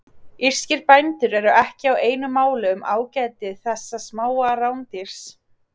Írskir bændur eru ekki á einu máli um ágæti þessa smáa rándýrs.